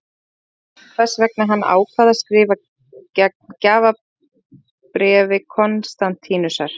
Ekki er ljóst hvers vegna hann ákvað að skrifa gegn gjafabréfi Konstantínusar.